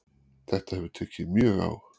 Þetta hefur tekið mjög á